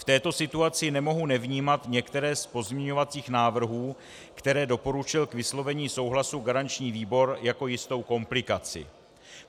V této situaci nemohu nevnímat některé z pozměňujících návrhů, které doporučil k vyslovení souhlasu garanční výbor, jako jistou komplikaci.